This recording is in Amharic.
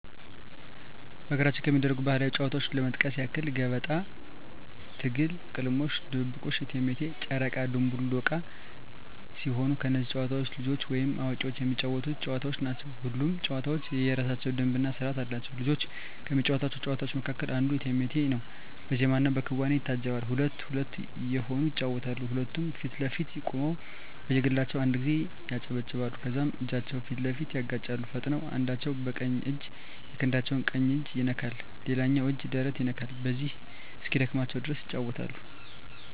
በሀገራችን ከሚደረጉ ባህላዊ ጨዋታዎች ለመጥቀስ ያክል ገበጣ፣ ትግል፣ ቅልምልሞሽ፣ ድብብቆሽ፣ እቴሜቴ፣ ጨረቃ ድንቡል ዕቃ ሲሆኑ እነዚህ ጨዋታዎች ልጆችም ወይም አዋቂዎች የሚጫወቱት ጨዋታዎች ናቸው። ሁሉም ጨዋታ የየራሳቸው ደንብ እና ስርዓት አላቸው። ልጆች ከሚጫወቷቸው ጨዋታዎች መካከል አንዱ እቴሜቴ ነው በዜማና በክዋኔ ይታጀባል ሁለት ሁለት እየሆኑ ይጫወቱታል ሁለቱም ፊት ለፊት ቆመው በየግላቸው አንድ ጊዜ ያጨበጭባሉ ከዛም እጃቸውን ፊት ለፊት ያጋጫሉ ፈጥነው አንዳቸው በቀኝ እጃቸው የክንዳቸው ቀኝ እጅ ይነካል ሌላኛው እጅ ደረት ይነካል በዚሁ እስኪደክማቸው ድረስ ይጫወታሉ።